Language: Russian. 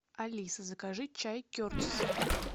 алиса закажи чай кертис